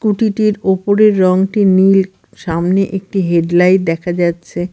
কুটিটির -টির ওপরের রঙটি নীল সামনে একটি হেডলাইট দেখা যাচ্ছে।